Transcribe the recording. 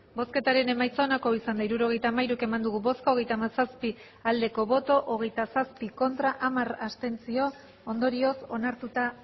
hirurogeita hamairu eman dugu bozka hogeita hamazazpi bai hogeita zazpi ez hamar abstentzio ondorioz onartuta